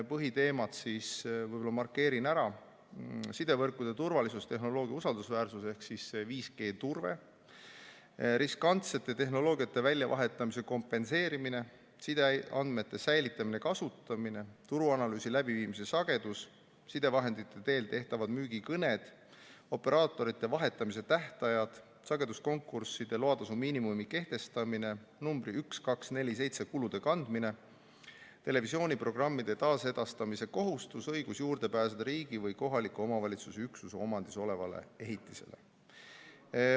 Põhiteemad võib-olla markeerin ära: sidevõrkude turvalisus, tehnoloogia usaldusväärsus ehk 5G turve, riskantsete tehnoloogiate väljavahetamise kompenseerimine, sideandmete säilitamine ja kasutamine, turuanalüüsi läbiviimise sagedus, sidevahendite teel tehtavad müügikõned, operaatorite vahetamise tähtajad, sageduskonkursside loatasu miinimumi kehtestamine, numbri 1247 kulude katmine, televisiooniprogrammide taasedastamise kohustus, õigus juurde pääseda riigi või kohaliku omavalitsuse üksuse omandis olevale ehitisele.